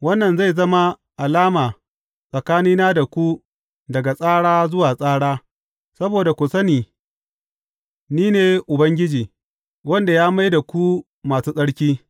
Wannan zai zama alama tsakanina da ku daga tsara zuwa tsara, saboda ku sani ni ne Ubangiji, wanda ya mai da ku masu tsarki.